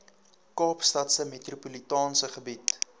kaapstadse metropolitaanse gebied